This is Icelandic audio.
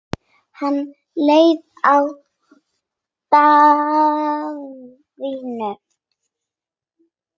Hann leit á Daðínu.